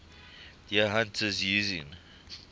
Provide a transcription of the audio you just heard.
deer hunters using